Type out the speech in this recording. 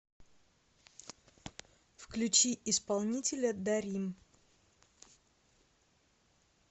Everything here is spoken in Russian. включи исполнителя даррим